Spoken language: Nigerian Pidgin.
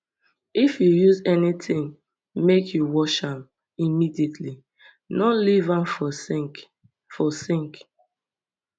if you use anytin make you wash am immediately no leave am for sink for sink